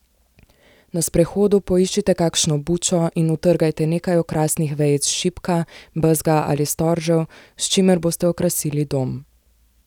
Na sprehodu poiščite kakšno bučo in utrgajte nekaj okrasnih vejic šipka, bezga ali storžev, s čimer boste okrasili dom.